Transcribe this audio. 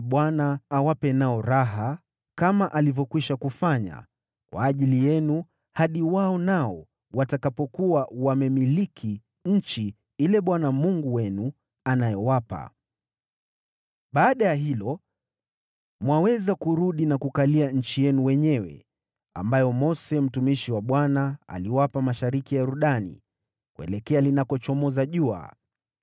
Bwana awape nao raha, kama alivyokwisha kufanya kwa ajili yenu hadi wao pia watakapokuwa wamemiliki nchi ile Bwana Mungu wenu anayowapa. Baada ya hilo, mwaweza kurudi na kukalia nchi yenu wenyewe, ambayo Mose mtumishi wa Bwana aliwapa mashariki mwa Yordani kuelekea linakochomoza jua.”